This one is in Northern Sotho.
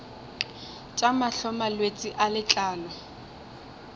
tša mahlo malwetse a letlalo